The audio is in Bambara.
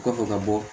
O kɔfɛ ka bɔ